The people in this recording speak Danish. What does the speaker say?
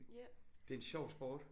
Det er en sjov sport